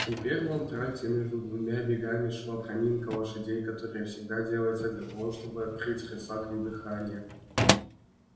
теперь в антракте между двумя бегами шла проминка лошадей которая всегда делается для того чтобы открыть рысакам дыхание